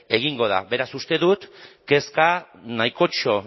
egingo da beraz uste dut kezka nahikotxo